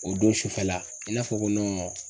O don sufɛla i n'a fɔ